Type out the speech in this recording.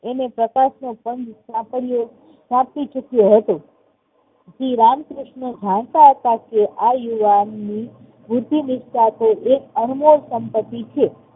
એને પ્રકાશનો પંથ સાંકળ્યો, સાંકળી ચુક્યો હતો. શ્રી રામકૃષ્ણ જનતા હતા કે આ યુવાનની બુદ્ધીનીષ્ઠા એક અણમોલ સંપત્તિ છે.